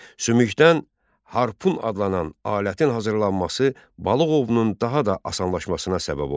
Sümükdən harpun adlanan alətin hazırlanması balıq ovunun daha da asanlaşmasına səbəb oldu.